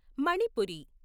Manipuri